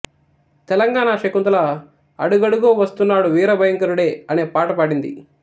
తెలంగాణా శకుంతల అడుగడుగో వస్తున్నాడు వీర భయంకరుడే అనే పాట పాడింది